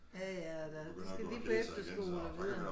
Ja ja og der de skal lige på efterskole og videre